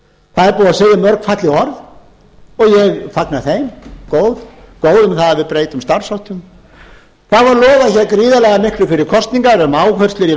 það er búið að segja mörg falleg orð og ég fagna þeim góð orð um það að við breytum starfsháttum það var lofað gríðarlega miklu fyrir kosningar um áherslur í